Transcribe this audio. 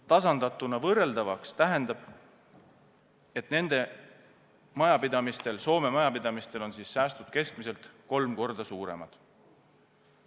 Tasandatuna võrreldavaks tähendab see, et Soome majapidamistel on säästud keskmiselt kolm korda suuremad.